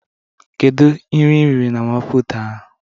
Kedu nri iriri na mama puutu ahụ?